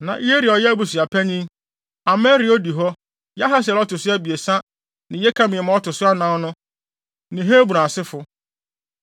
Na Yeria a ɔyɛ abusuapanyin, Amaria a odi hɔ, Yahasiel a ɔto so abiɛsa ne Yekameam a ɔto so anan no ne Hebron asefo no.